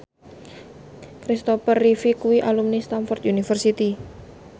Christopher Reeve kuwi alumni Stamford University